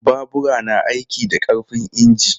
Babura na aiki da ƙarfin inji.